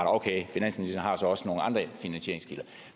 okay finansministeren har så også nogle andre finansieringskilder